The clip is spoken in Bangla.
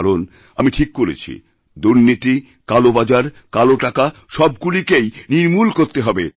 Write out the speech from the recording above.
কারণ আমি ঠিক করেছি দুর্নীতি কালোবাজার কালোটাকা সবগুলিকেইনির্মূল করতে হবে